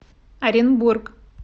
оренбург